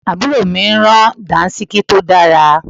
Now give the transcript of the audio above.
Àbúrò mi rán Dàńṣíkí tó dára